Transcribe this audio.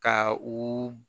Ka u